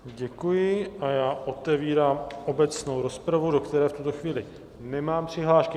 Děkuji a já otevírám obecnou rozpravu, do které v tuto chvíli nemám přihlášky.